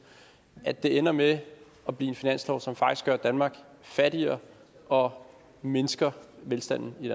at det ender med at blive en finanslov som faktisk gør danmark fattigere og mindsker velstanden i